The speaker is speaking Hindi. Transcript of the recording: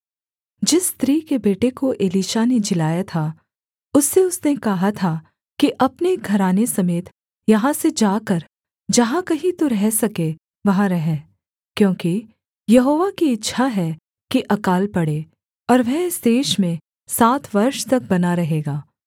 जिस स्त्री के बेटे को एलीशा ने जिलाया था उससे उसने कहा था कि अपने घराने समेत यहाँ से जाकर जहाँ कहीं तू रह सके वहाँ रह क्योंकि यहोवा की इच्छा है कि अकाल पड़े और वह इस देश में सात वर्ष तक बना रहेगा